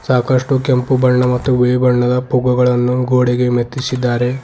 ಸಾಕಷ್ಟು ಕೆಂಪು ಮತ್ತು ಬಿಳಿ ಬಣ್ಣದ ಪೊಗ್ಗುಗಳನ್ನು ಗೋಡೆಗೆ ಮೆತ್ತಿಸಿದ್ದಾರೆ.